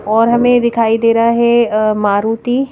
और हमें दिखाई दे रहा है अ मारुति--